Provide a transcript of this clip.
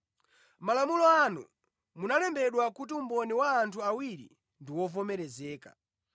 Mʼmalamulo anu munalembedwa kuti umboni wa anthu awiri ndi wovomerezeka.